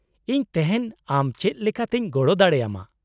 -ᱤᱧ ᱛᱮᱦᱮᱧ ᱟᱢ ᱪᱮᱫ ᱞᱮᱠᱟᱛᱮᱧ ᱜᱚᱲᱚ ᱫᱟᱲᱮ ᱟᱢᱟ ?